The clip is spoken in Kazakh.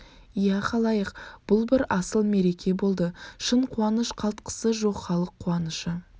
иә халайық бұл бір асыл мереке болды шын қуаныш қалтқысы жоқхалық қуанышы